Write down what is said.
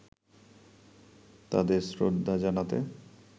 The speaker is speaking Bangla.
তাদের শ্রদ্ধা জানাতে